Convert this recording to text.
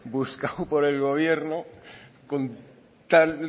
buscado por el gobierno con tal